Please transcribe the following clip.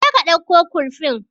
Je ka dauko kurfin